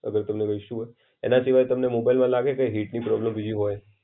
અને તમને કઈ ઇશુ હોય. એના સિવાય તમને મોબાઈલમાં લાગે કે હિટની પ્રોબ્લમ બીજી હોય?